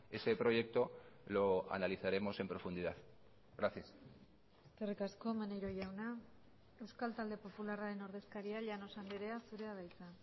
ese proyecto lo analizaremos en profundidad gracias eskerrik asko maneiro jauna euskal talde popularraren ordezkaria llanos andrea zurea da hitza